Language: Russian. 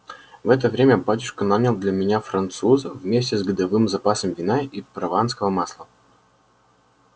в это время батюшка нанял для меня француза вместе с годовым запасом вина и прованского масла